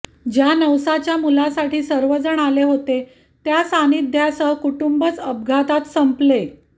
ज्या नवसाच्या मुलासाठी सर्वजण आले होते त्या सान्निध्यसह कुटुंबच अपघातात संपले